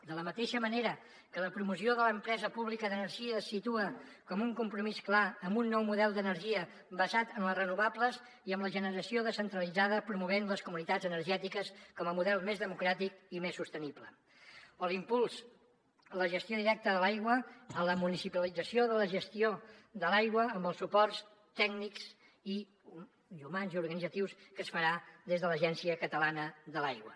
de la mateixa manera que la promoció de l’empresa pública d’energia es situa com un compromís clar amb un nou model d’energia basat en les renovables i amb la generació descentralitzada promovent les comunitats energètiques com a model més democràtic i més sostenible o l’impuls a la gestió directa de l’aigua a la municipalització de la gestió de l’aigua amb els suports tècnics i humans i organitzatius que es farà des de l’agència catalana de l’aigua